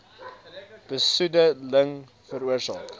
besoede ling veroorsaak